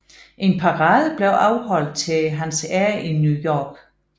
En parade blev afholdt til hans ære i New York